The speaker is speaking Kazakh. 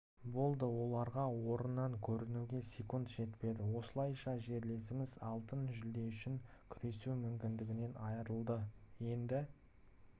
болды оларға орыннан көрінуге секунд жетпеді осылайша жерлестеріміз алтын жүлде үшін күресу мүмкіндігінен айырылды енді